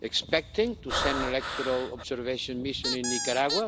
expecting to send an electoral observation mission to Nicaragua?